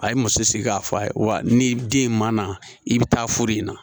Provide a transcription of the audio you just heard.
A ye muso sigi k'a fɔ a ye wa ni den in ma na i bɛ taa furu in na